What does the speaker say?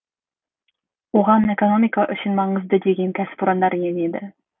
оған экономика үшін маңызды деген кәсіпорындар енеді